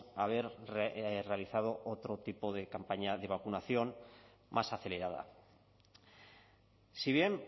haber realizado otro tipo de campaña de vacunación más acelerada si bien